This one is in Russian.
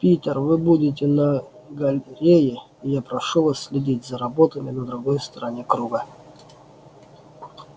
питер вы будете на галерее и я прошу вас следить за роботами на другой стороне круга